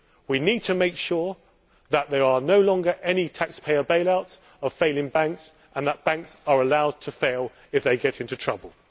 We need to make sure that there are no longer any taxpayer funded bail outs of failing banks and that banks are allowed to fail if they get into trouble.